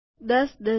૧૦ dozen